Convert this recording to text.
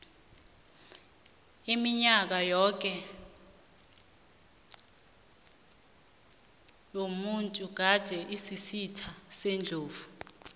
iminyaka yoke le umuntu gade asisitha sendlovu